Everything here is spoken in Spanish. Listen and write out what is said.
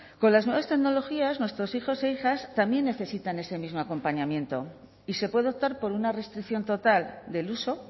con las nuevas tecnologías nuestros hijos e hijas también necesitan ese mismo acompañamiento y se puede optar por una restricción total del uso